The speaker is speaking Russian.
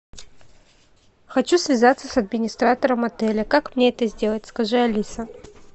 хочу связаться с администратором отеля как мне это сделать скажи алиса